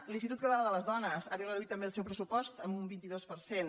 l’institut català de les dones ha disminuït també el seu pressupost en un vint dos per cent